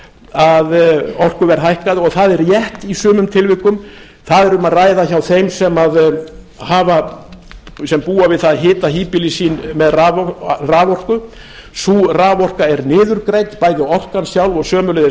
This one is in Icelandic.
að orkuverð hækkaði og það er rétt í sumum tilvikum þar var um að ræða hjá þeim sem búa við það að hita híbýli sín með raforku sú raforka er niðurgreidd bæði orkan sjálf og sömuleiðis